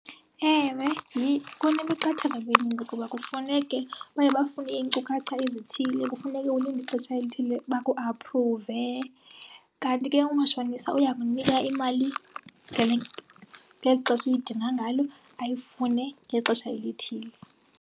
Ewe, kunemiqathango emininzi kuba kufuneke, baye bafune iinkcukacha ezithile, kufuneke ulinde ixesha elithile bakuaphruve. Kanti ke umatshonisa uyakunika imali ngeli xesha uyidinga ngalo ayifune ngexesha elithile.